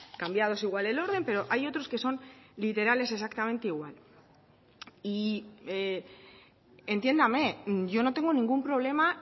cambiados igual el orden pero hay otros que son literales exactamente igual y entiéndame yo no tengo ningún problema